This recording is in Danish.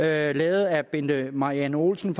er lavet af bente marianne olsen